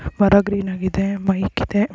ಹೊರಗ್ ಗ್ರೀನ್ ಇದೆ ಮೈಕ್ ಇದೆ.